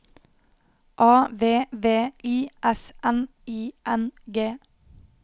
A V V I S N I N G